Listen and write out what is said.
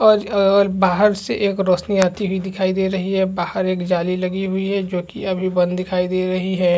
और अ बाहर से एक रोशनी आती हुई दिखाई दे रही है और बाहर एक जाली लगी हुई है जो की अभी बंद दिखाई दे रही है ।